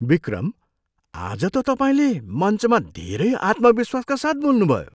विक्रम! आज त तपाईँले मञ्चमा धेरै आत्मविश्वासका साथ बोल्नुभयो!